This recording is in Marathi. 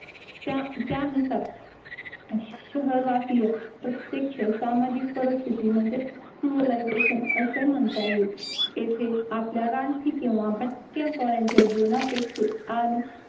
त्या त्यानुसार शहरवासीय प्रत्येक प्रत्यक्ष सामाजिक परिस्थिती म्हणजे सिव्हिलायझेशन असे म्हणता येईल येथे आपल्या रानटी किंवा भटक्या कळ्यांच्या जीवनापेक्षा आणि